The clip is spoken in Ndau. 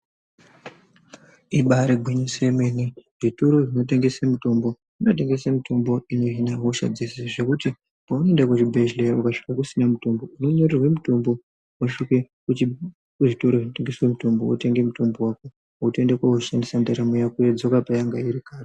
Ibari gwinyiso yemene zvitoro zvinotengesa mitombo , zvinotengesa mitombo inohina hosha dzeshe zvekuti paunoenda kuzvibhedhlera ukasvika kusina mitombo unonyorerwa mitombo wosvike kuzvitoro zvinotengeswa mitombo wotenge mitombo wako wotoenda koushandisa ndaramo yodzoka payanga iri kare.